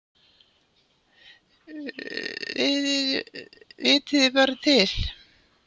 Vitiði bara til!